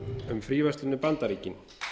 um fríverslun við bandaríkin